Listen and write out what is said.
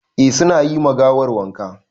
Eh su na yi ma gawar wanka.